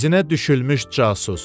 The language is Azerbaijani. İzinə düşülmüş casus.